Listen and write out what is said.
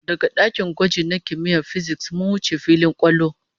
Daga dakin gwaji na kimiyyar fisiks, mun wuce filin kwallo